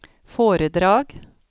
foredrag